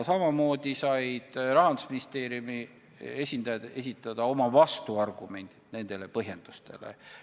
Samamoodi said Rahandusministeeriumi esindajad esitada neile põhjendustele oma vastuargumendid.